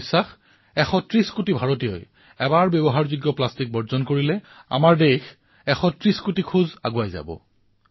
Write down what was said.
মোৰ বিশ্বাস যে ১৩০ কোটি ভাৰতীয়ই এই দিশত পদক্ষেপ গ্ৰহণ কৰিলে এবাৰ ব্যৱহৃত প্লাষ্টিকৰ পৰা মুক্ত হোৱাৰ দিশত ভাৰতে ১৩০ কোটি খোজ আগুৱাই যাব